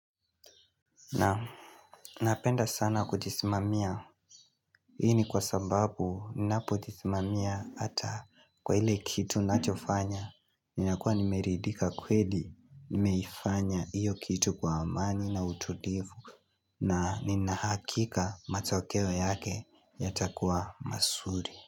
Naam napenda sana kujisimamia ni kwa sababu ninapojisimamia hata kwa ile kitu nachofanya Ninakua nimeridhika kweli nimeifanya iyo kitu kwa amani na utulivu na nina hakika matokeo yake yatakuwa mazuri.